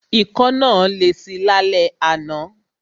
Ikọ́ náà lesi lálẹ́ àná.